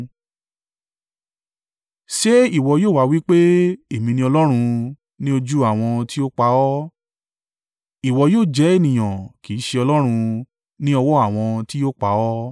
Ṣé ìwọ yóò wá wí pé, “Èmi ni Ọlọ́run,” ní ojú àwọn tí ó pa ọ́? Ìwọ yóò jẹ́ ènìyàn, kì í ṣe Ọlọ́run, ní ọwọ́ àwọn ti yóò pa ọ́.